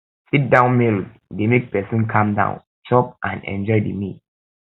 sit down meals dey make person calm down chop and enjoy the meal